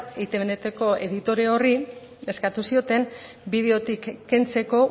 eitbnet eko editore horri eskatu zioten bideotik kentzeko